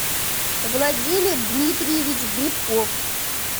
владимир дмитриевич грибков